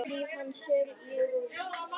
Líf hans er í rúst.